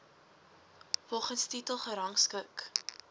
volgens titel gerangskik